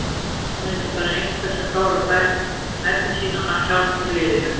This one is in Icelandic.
Hann er ekki bara einhver sem klárar færin sín, hann hjálpar liðinu.